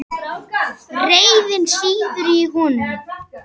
Reiðin sýður í honum.